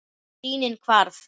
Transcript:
Sýnin hvarf.